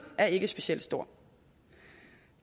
er ikke specielt stor